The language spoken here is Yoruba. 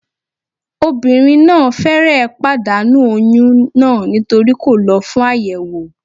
Obìnrin náà fẹ́rẹ̀ẹ́ pàdánù oyún náà nítorí kò lọ fún àyẹ̀wò